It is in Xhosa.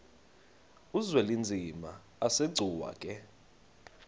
uzwelinzima asegcuwa ke